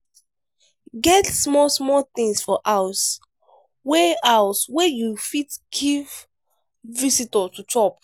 get small small things for house wey house wey you fit give visitor to chop